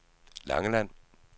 Langeland